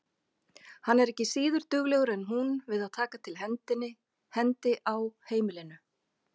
Hann er ekki síður duglegur en hún við að taka til hendi á heimilinu.